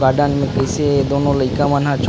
Garden में कैसे दोनों लइका मना ह।